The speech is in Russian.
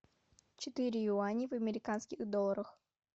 четыре юаней в американских долларах